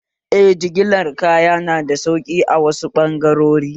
Eh, jigilar kaya nada sauƙi a wasu ɓangarori